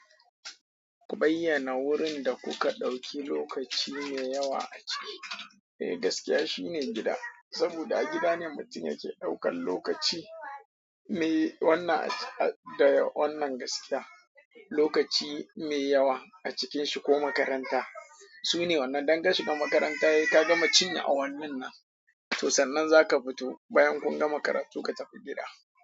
Ku bayyana wurin da kuka ɗauki lokaci mai yawa a ciki. Eh, gaskiya shine gida. Saboda a gida ne mutum yake ɗaukan lokaci. Me wannan a da wannan gaskiya. Lokaci mai yawa a cikinshi ko makaranta. Sune wannan. Dan ka shiga makaranta, sai ka gama cinye a wannin nan. To sannan zaka fito bayan kun gama karatu ka tafi gida.